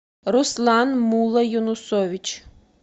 руслан муллоюнусович